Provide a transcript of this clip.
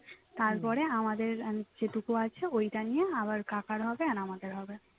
তারপরে আমাদের আহ যেটুকু আছে ওইটা নিয়ে আবার কাকার হবে আর আমাদের হবে